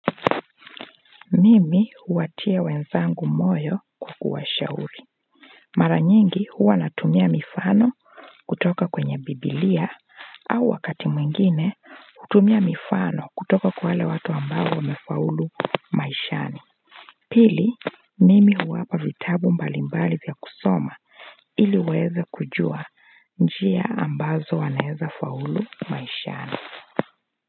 Mimi huwatia wenzangu moyo kwa kuwa shauri mara nyingi huwa natumia mifano kutoka kwenye biblia au wakati mwingine kutumia mifano kutoka kwa wale watu ambao wamefaulu maishani pili mimi huwapa vitabu mbalimbali vya kusoma iliwaweze kujua njia ambazo wanaeza faulu maishani.